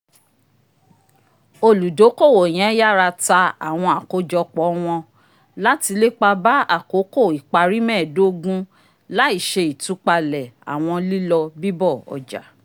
oludokowo yen yara ta awọn àkójọpọ̀ wọn lati lépa bá akoko ipari mẹẹdogun laiṣe itupalẹ awọn lilọ bibọ ọja